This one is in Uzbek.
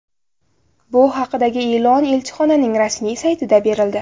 Bu haqdagi e’lon elchixonaning rasmiy saytida berildi .